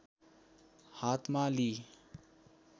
हातमा लिई